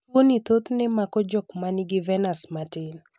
tuoni thothne mako jok man gi venas matin